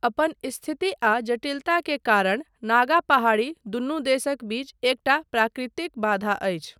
अपन स्थिति आ जटिलता के कारण नागा पहाड़ी, दुनू देशक बीच एकटा प्राकृतिक बाधा अछि।